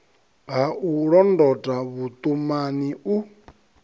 ha u londota vhuṱumani u